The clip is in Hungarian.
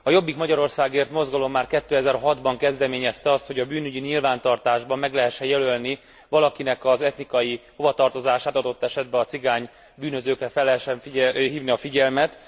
A Jobbik Magyarországért mozgalom már 2006 ban kezdeményezte azt, hogy a bűnügyi nyilvántartásban meg lehessen jelölni valakinek az etnikai hovatartozását, adott esetben a cigány bűnözőkre fel lehessen hívni a figyelmet.